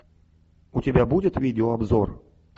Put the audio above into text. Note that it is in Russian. у тебя будет видеообзор